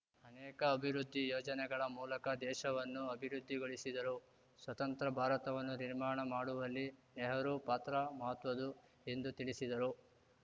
ಅನೇಕ ಅಭಿವೃದ್ಧಿ ಯೋಜನೆಗಳ ಮೂಲಕ ದೇಶವನ್ನು ಅಭಿವೃದ್ಧಿಗೊಳಿಸಿದರು ಸ್ವತಂತ್ರ ಭಾರತವನ್ನು ನಿರ್ಮಾಣ ಮಾಡುವಲ್ಲಿ ನೆಹರೂ ಪಾತ್ರ ಮಹತ್ವದ್ದು ಎಂದು ತಿಳಿಸಿದರು